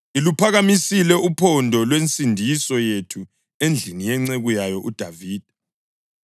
Iluphakamisile uphondo lwensindiso yethu endlini yenceku yayo uDavida